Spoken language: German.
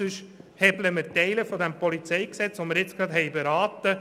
Ansonsten hebeln wir Teile dieses PolG aus.